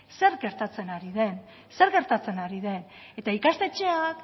zer gertatzen ari den eta ikastetxeak